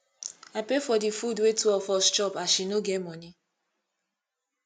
i pay for di food wey two of us chop as she no get moni